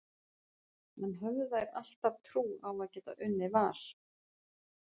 En höfðu þær alltaf trú á að geta unnið Val?